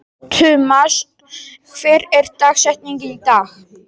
Tumas, hver er dagsetningin í dag?